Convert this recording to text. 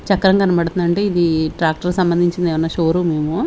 చక్రం కనబడుతుందంటే ఇది ట్రాక్టర్ కి సంబంధించింది ఏమన్నా షో రూమ్ ఏమో.